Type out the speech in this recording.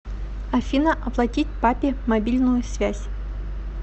афина оплатить папе мобильную связь